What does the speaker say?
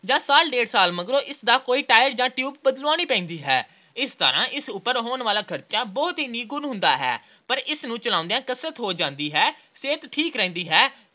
ਜਾਂ ਸਾਲ – ਡੇਢ ਸਾਲ ਮਗਰੋਂ ਇਸ ਦਾ ਕੋਈ tire ਜਾਂ tube ਬਦਲਾਉਣੀ ਪੈਂਦੀ ਹੈ। ਇਸ ਤਰ੍ਹਾਂ ਇਸ ਉੱਪਰ ਹੋਣ ਵਾਲਾ ਖਰਚ ਬਹੁਤ ਹੀ ਨਿਗੁਣ ਹੁੰਦਾ ਹੈ, ਇਸ ਤਰ੍ਹਾਂ ਇਸ ਨੂੰ ਚਲਾਉਂਦਿਆਂ ਕਸਰਤ ਹੋ ਜਾਂਦੀ ਹੈ। ਸਿਹਤ ਠੀਕ ਰਹਿੰਦੀ ਹੈ।